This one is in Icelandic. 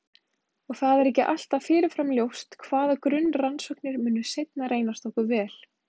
Og það er ekki alltaf fyrirfram ljóst hvaða grunnrannsóknir munu seinna reynast okkur vel.